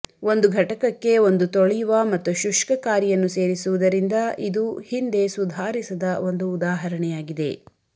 ಒಂದು ಘಟಕಕ್ಕೆ ಒಂದು ತೊಳೆಯುವ ಮತ್ತು ಶುಷ್ಕಕಾರಿಯನ್ನು ಸೇರಿಸುವುದರಿಂದ ಇದು ಹಿಂದೆ ಸುಧಾರಿಸದ ಒಂದು ಉದಾಹರಣೆಯಾಗಿದೆ